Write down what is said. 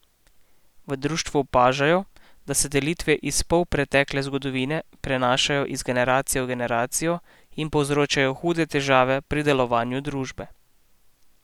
V društvu opažajo, da se delitve iz polpretekle zgodovine prenašajo iz generacije v generacijo in povzročajo hude težave pri delovanje družbe.